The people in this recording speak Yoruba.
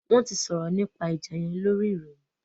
Wọn tí sòrò nípa ìjà yén lórí ìròyìn